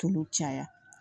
Tulu caya